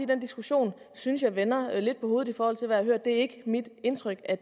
den diskussion synes jeg vender lidt på hovedet i forhold til hvad jeg har hørt det er ikke mit indtryk at